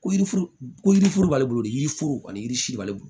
Ko yirifuru ko yiri foro b'ale bolo ni yiri foro ani yiri si b'ale bolo